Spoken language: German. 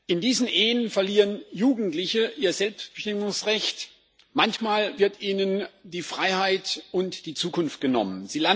In diesen Ehen verlieren Jugendliche ihr Selbstbestimmungsrecht, manchmal werden ihnen die Freiheit und die Zukunft genommen.